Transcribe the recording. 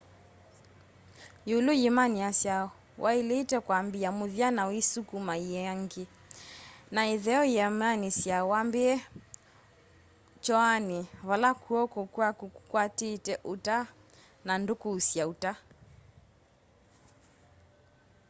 yĩũlũ yĩmanĩasya wa ĩlĩte kwambĩa mũthya na uisukuma yĩangĩ na ĩtheo yĩmanĩasya wambĩe kyoanĩ vala kw'oko kwaku kũkwatĩte ũta na ndũkũsya ũta